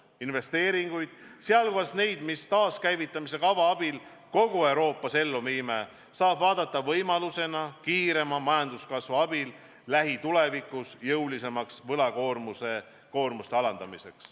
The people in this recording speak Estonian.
Investeeringuid, sh neid, mida taaskäivitamise kava abil kogu Euroopas teostame, saab vaadata võimalusena alandada kiirema majanduskasvu abil lähitulevikus jõulisemalt võlakoormust.